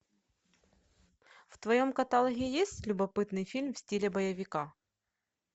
в твоем каталоге есть любопытный фильм в стиле боевика